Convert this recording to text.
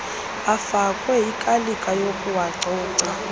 afakwe ikalika yokuwacoca